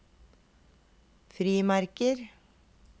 frimerker